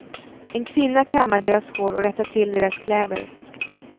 En kvinna kammar deras hår och rättar till deras kläder.